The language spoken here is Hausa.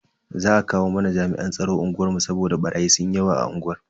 Za a kawo mana jami'an tsaro unguwar mu saboda barayi sunyi yawa a unguwar.